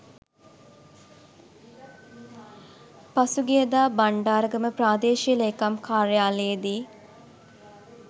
පසුගියදා බණ්ඩාරගම ප්‍රාදේශීය ලේකම් කාර්යාලයේදී